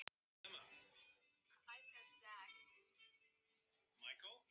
Kató, hvað er í matinn á fimmtudaginn?